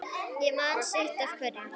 Ég man sitt af hverju